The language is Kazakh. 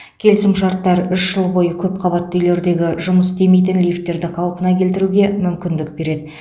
келісімшарттар үш жыл бойы көп қабатты үйлердегі жұмыс істемейтін лифттерді қалпына келтіруге мүмкіндік береді